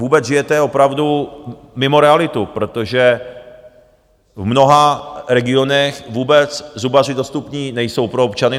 Vůbec, žijete opravdu mimo realitu, protože v mnoha regionech vůbec zubaři dostupní nejsou pro občany.